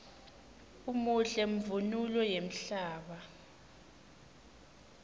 umuhle mvunulo yemhlaba